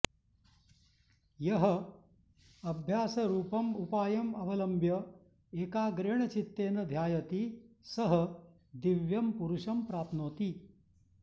यः अभ्यासरूपम् उपायम् अवलम्ब्य एकाग्रेण चित्तेन ध्यायति सः दिव्यं पुरुषं प्राप्नोति